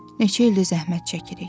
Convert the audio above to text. Neçə ildir zəhmət çəkirik?